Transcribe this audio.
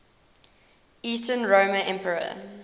eastern roman emperor